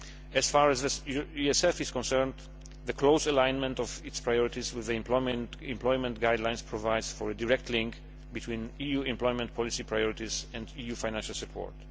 As far as the ESF is concerned, the close alignment of its priorities with the Employment Guidelines provides for a direct link between EU employment policy priorities and EU financial support.